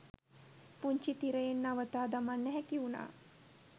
පුංචි තිරයෙන් නවතා දමන්න හැකිවුණා.